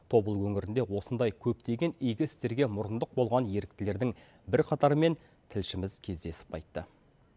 тобыл өңірінде осындай көптеген игі істерге мұрындық болған еріктілердің бірқатарымен тілшіміз кездесіп қайтты